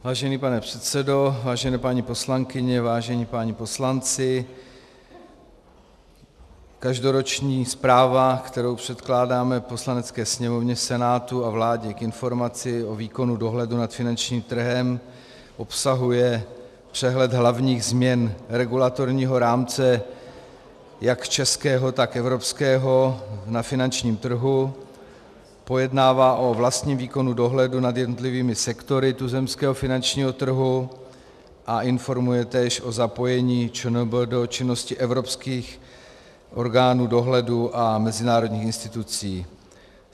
Vážený pane předsedo, vážené paní poslankyně, vážení páni poslanci, každoroční zpráva, kterou předkládáme Poslanecké sněmovně, Senátu a vládě k informaci o výkonu dohledu nad finančním trhem, obsahuje přehled hlavních změn regulatorního rámce jak českého, tak evropského na finančním trhu, pojednává o vlastním výkonu dohledu nad jednotlivými sektory tuzemského finančního trhu a informuje též o zapojení ČNB do činnosti evropských orgánů dohledu a mezinárodních institucí.